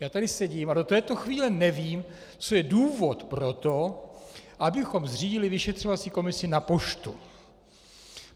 Já tady sedím a do této chvíle nevím, co je důvod pro to, abychom zřídili vyšetřovací komisi na poštu.